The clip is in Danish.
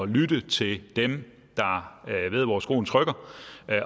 lytte til dem der ved hvor skoen trykker